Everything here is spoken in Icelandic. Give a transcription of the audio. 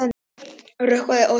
Rökkvað og svalt.